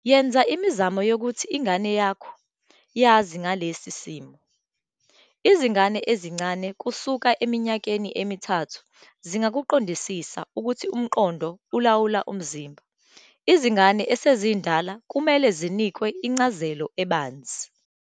Yenza imizamo yokuthi ingane yakho yazi ngalesi simo. Izingane ezincane kusuka eminyakeni emithathu zingakuqondisisa ukuthi umqondo ulawula umzimba. Izingane esezindala kumele zinikwe incazelo ebanzi.